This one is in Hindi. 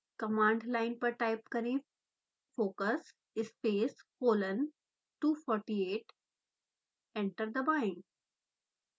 कमांड लाइन पर टाइप करें: focus space colon 248 एंटर दबाएँ